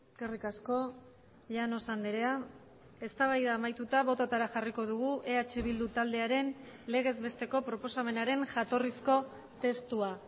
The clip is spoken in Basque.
eskerrik asko llanos andrea eztabaida amaituta bototara jarriko dugu eh bildu taldearen legezbesteko proposamenaren jatorrizko testua